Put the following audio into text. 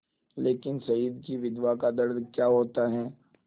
लेकिन शहीद की विधवा का दर्द क्या होता है